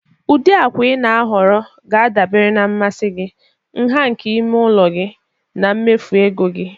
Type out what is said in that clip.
Ụdị akwa ị na-ahọrọ ga-adabere na mmasị gị, nha nke ime ụlọ gị, na mmefu ego gị.